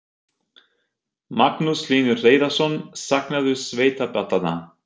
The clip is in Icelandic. Magnús Hlynur Hreiðarsson: Saknarðu sveitaballanna?